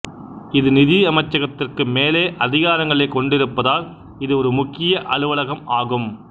இது நிதி அமைச்சகத்திற்கு மேலே அதிகாரங்களைக் கொண்டிருப்பதால் இது ஒரு முக்கிய அலுவலகம் ஆகும்